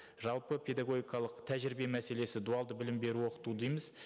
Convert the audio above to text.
жалпы педагогикалық тәжірибе мәселесі дуалды білім беру оқыту дейміз